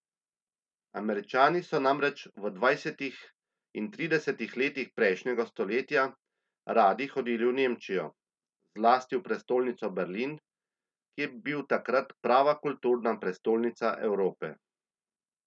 Američani so namreč v dvajsetih in tridesetih letih prejšnjega stoletja radi hodili v Nemčijo, zlasti v prestolnico Berlin, ki je bil takrat prava kulturna prestolnica Evrope.